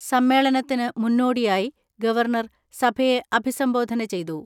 സമ്മേളനത്തിന് മുന്നോടിയായി ഗവർണർ സഭയെ അഭിസംബോധന ചെയ്തു.